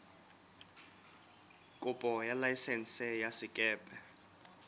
kopo ya laesense ya sekepe